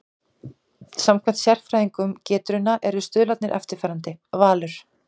Samkvæmt sérfræðingum Getrauna eru stuðlarnir eftirfarandi: Valur